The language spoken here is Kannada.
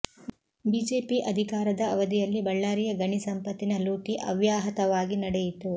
ಬಿಜೆಪಿ ಅಧಿಕಾರದ ಅವಧಿಯಲ್ಲಿ ಬಳ್ಳಾರಿಯ ಗಣಿ ಸಂಪತ್ತಿನ ಲೂಟಿ ಅವ್ಯಾಹತವಾಗಿ ನಡೆಯಿತು